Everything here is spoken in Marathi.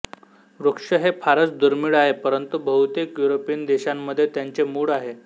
वृक्ष हे फारच दुर्मिळ आहे परंतु बहुतेक युरोपियन देशांमध्ये त्यांचे मूळ आहे